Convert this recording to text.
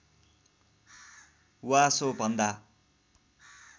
वा सो भन्दा